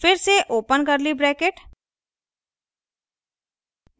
फिर से open curly bracket